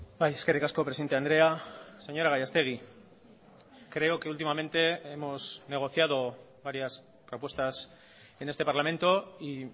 bai eskerrik asko presidente andrea señora gallastegi creo que últimamente hemos negociado varias propuestas en este parlamento y